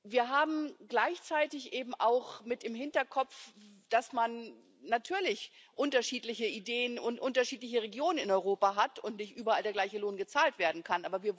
Wir haben gleichzeitig eben auch mit im Hinterkopf, dass man natürlich unterschiedliche Ideen und unterschiedliche Regionen in Europa hat und nicht überall der gleiche Lohn gezahlt werden kann.